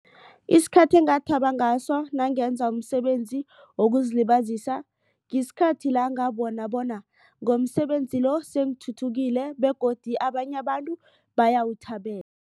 Isikhathi engathaba ngaso nangenza umsebenzi wokuzilibazisa isikhathi la ngabona bona ngomsebenzi lo sengithuthukile begodu abanye abantu bayawuthabela.